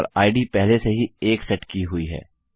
और इद पहले से ही 1 सेट की हुई है